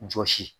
Jɔsi